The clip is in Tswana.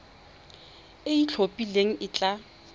e e itlhophileng e tla